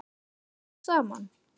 Smulluð þið strax saman?